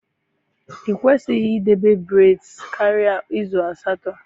I kwesịghị idebe braids karịa izu asatọ.